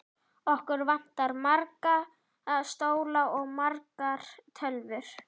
Okkur vantar marga stóla og margar tölvur.